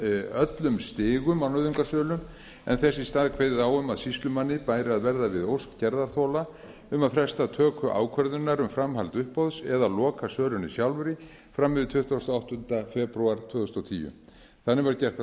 öllum stigum á nauðungarsölu en þess í stað kveðið á um að sýslumanni bæri að verða við ósk gerðarþola um að fresta töku ákvörðunar um framhald uppboðs eða lokasölunni sjálfri fram yfir tuttugasta og áttunda febrúar tvö þúsund og tíu þannig var gert ráð